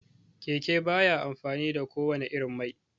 Keke baya amfani da ko wanne irin mai